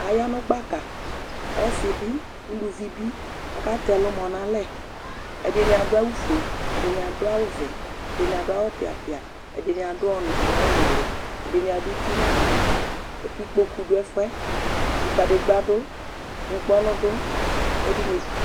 aya nu gbaka ɔsi bi, uluvi bi, ku ɔkatɛ ɛlumɔ nu alɛ, ɛdini adu awu fue, ɛdini adu vɛ, ɛdini adu awu piapia, ɛdini adu ɔnu, uwɔ nuli, ɛdini adu uti nu ava, ku ikpoku du ɛfuɛ, ku kadegba du ŋkpɔnu du, ku ɛdini